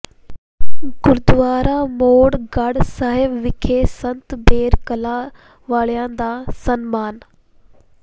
ਗੁਰਦੁਆਰਾ ਮੋੜਗੜ੍ਹ ਸਾਹਿਬ ਵਿਖੇ ਸੰਤ ਬੇਰ ਕਲਾਂ ਵਾਲਿਆਂ ਦਾ ਸਨਮਾਨ